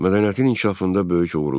Mədəniyyətin inkişafında böyük uğurlar.